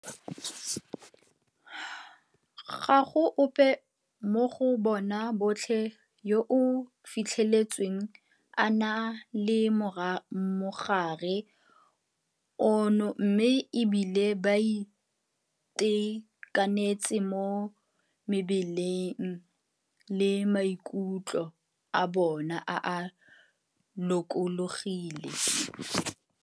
Ga go ope mo go bona botlhe yo a fitlhetsweng a na le mogare ono mme e bile ba itekanetse mo mebeleng le maikutlo a bona a lokologile.